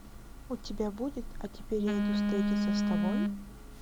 у тебя будет а теперь я иду встретиться с тобой